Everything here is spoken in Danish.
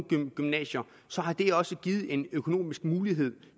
nogle gymnasier har det også givet en økonomisk mulighed